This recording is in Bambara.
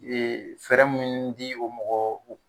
Ee fɛɛrɛ minnu di o mɔgɔw